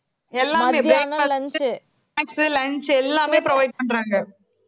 எல்லாமே breakfast snacks lunch எல்லாமே provide பண்றாங்க